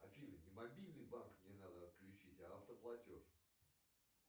афина не мобильный банк мне надо отключить а автоплатеж